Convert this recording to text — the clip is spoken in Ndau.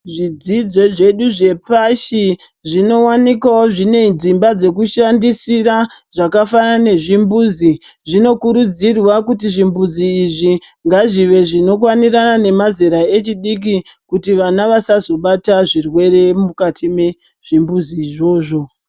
Zvidzidzo zvedu zvepashi zvinowanikwawo zvine dzimba dzekushandisira zvakafanana nezvimbuzi zvinokurudzirwa kuti zvimbuzi izvi ngazvive zvinokwanirana nemazera echidiki kuti vana vasazobata zvirwere mukati mezvimbuzi izvozvo.